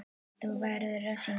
Þú verður að syngja.